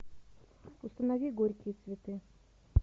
установи горькие цветы